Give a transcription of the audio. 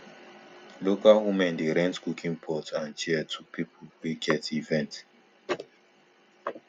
local women dey rent cooking pot and chair to people wey get event